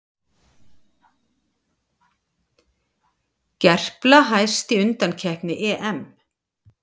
Gerpla hæst í undankeppni EM